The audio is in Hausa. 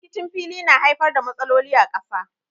Rikicin fili na haifar da matsaloli a ƙasa.